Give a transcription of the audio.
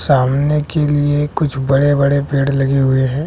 सामने के लिए कुछ बड़े बड़े पेड़ लगे हुए हैं।